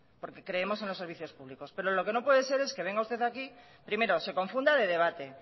porque creemos en los servicios público pero lo que no puede ser es que venga usted aquí primero se confunda de debate